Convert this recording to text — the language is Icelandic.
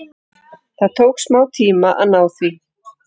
Það tók smá tíma að ná því.